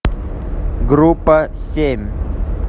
группа семь